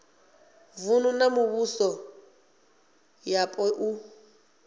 vunu na mivhuso yapo u